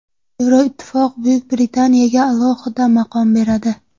Yevroittifoq Buyuk Britaniyaga alohida maqom beradi.